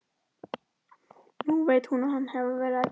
Nú veit hún að hann hefur verið að gægjast.